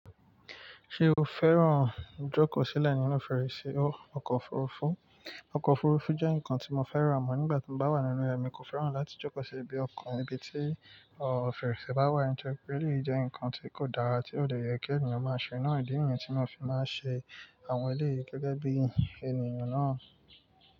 Ṣé o fẹ́ràn jókòó sílẹ̀ nínú fèrèsé ọkọ̀ òfurufú? Ọkọ̀ òfurufú jẹ́ nǹkan tí mo fẹ́ràn àmọ́ nígbà tí mo bá wà nínú rẹ̀, èmi kò fẹ́ràn láti jókòó sí ibi ọkọ̀ níbi tí fèrèsé bá wà, nítorí pé eléyìí jẹ́ ǹkan tí kò dára tí ò dẹ̀ yẹ kí ènìyàn máa ṣe. Ǹó ìdí mi ni tí mo fi máa ń ṣe àwọn eléyìí gẹ́gẹ́ bí ènìyàn náà.